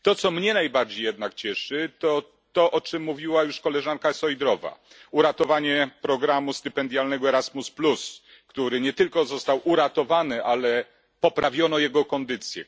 To, co mnie najbardziej jednak cieszy, to to, o czym mówiła już koleżanka Šojdrová, czyli uratowanie programu stypendialnego Erasmus, który nie tylko został uratowany, ale poprawiono jego kondycję.